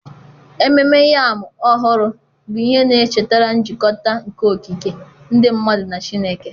Ememme Yam Ọhụrụ bụ ihe na-echetara njikọta nke okike, ndị mmadụ na Chineke.